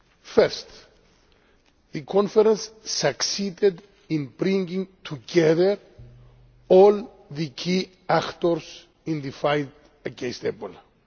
First, the conference succeeded in bringing together all the key actors in the fight against Ebola.